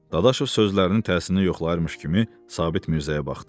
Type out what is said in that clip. Dadaşov sözlərinin təsirini yoxlayırmış kimi Sabit Mirzəyə baxdı.